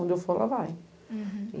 Onde eu for, ela vai. Uhum